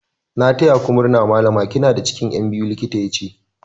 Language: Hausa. "N'na taya ku murna Mallama" kina da cikin Yan biyu, likitan ya ce.